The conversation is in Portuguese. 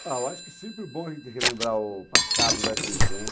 Ah, eu acho que é sempre bom a gente relembrar o passado da gente, né?